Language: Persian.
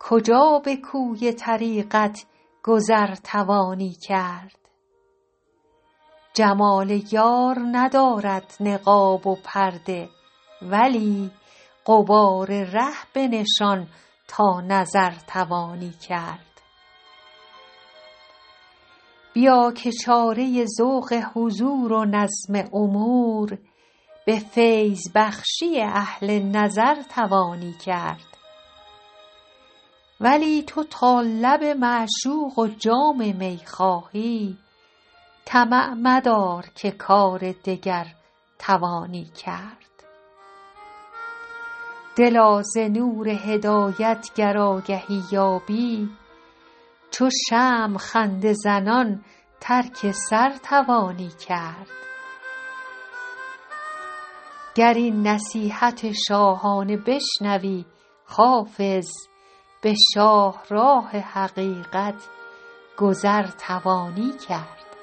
کجا به کوی طریقت گذر توانی کرد جمال یار ندارد نقاب و پرده ولی غبار ره بنشان تا نظر توانی کرد بیا که چاره ذوق حضور و نظم امور به فیض بخشی اهل نظر توانی کرد ولی تو تا لب معشوق و جام می خواهی طمع مدار که کار دگر توانی کرد دلا ز نور هدایت گر آگهی یابی چو شمع خنده زنان ترک سر توانی کرد گر این نصیحت شاهانه بشنوی حافظ به شاهراه حقیقت گذر توانی کرد